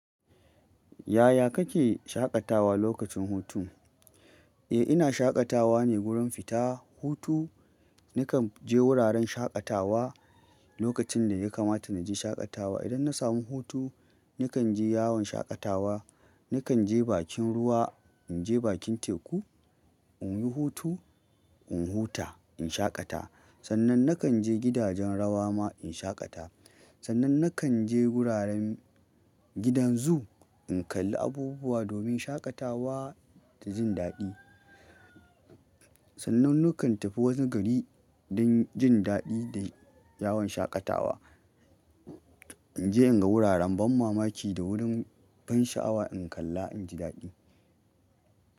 Yaya kake shaƙatawa lokacin hutu? Eh ina shaƙatawa ne wurin fita hutu. Nakan je wuraren shaƙatawa lokacin da ya kamata na je shaƙatawa. Idan na samu hutu nakan je yawon shaƙatawa, nakan je bakin ruwa, in je bakin teku in yi hutu, in huta, in shaƙata. Sannan nakan je gidajen rawa ma in shaƙata. Sannan nakan je wuraren gidan zoo in kalli abubuwa domin shaƙatawa da jin daɗi. Sannan nakan tafi wani gari don jin daɗi da yawon shaƙatawa. Idan na samu hutu nakan je yawon shaƙatawa, nakan je bakin ruwa, in je bakin teku in yi hutu, in huta, in shaƙata.